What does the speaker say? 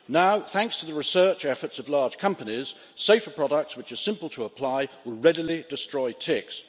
Now, thanks to the research efforts of large companies, safer products which are simple to apply will readily destroy ticks.